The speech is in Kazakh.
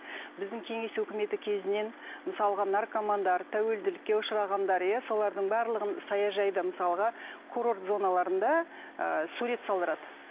біздің кеңес үкіметі кезінен мысалға наркомандар тәуелділікке ұшырағандар иә солардың барлығын саяжайда мысалға курорт зоналарында ы сурет салдырады